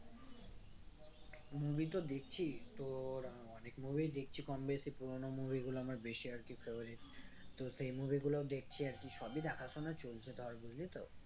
Movie তো দেখছি তোর অনেক movie দেখছি কম বেশি পুরোনো movie গুলো আমার বেশি আরকি favourite তো সেই movie দেখছি গুলোও দেখছি আরকি সবই দেখা শোনা চলছে ধর বুঝলি তো